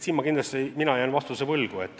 Selle kohta mina jään vastuse võlgu.